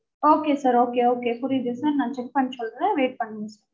okay sir okay okay புரியுது sir நா check பண்ணிட்டு சொல்றேன் wait பண்ணுங்க